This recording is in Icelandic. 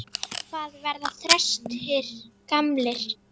Hvað verða þrestir gamlir?